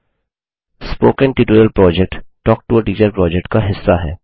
spoken tutorial project talk to a teacher project का हिस्सा है